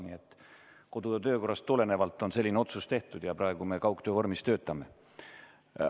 Nii et kodu- ja töökorrast tulenevalt on selline otsus tehtud ja praegu me töötame kaugtöö vormis.